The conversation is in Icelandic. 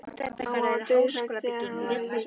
Mamma var dauðhrædd þegar hann var í þessum ham.